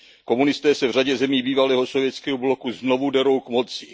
Komunisté se v řadě zemí bývalého sovětského bloku znovu derou k moci.